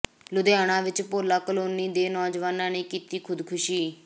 ਲੁਧਿਆਣਾ ਵਿੱਚ ਭੋਲਾ ਕਲੋਨੀ ਦੇ ਨੌਜਵਾਨ ਨੇ ਕੀਤੀ ਖੁਦਕੁਸ਼ੀ